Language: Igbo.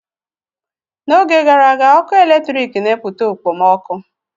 N'oge gara aga, ọkụ eletrik na-emepụta okpomọkụ.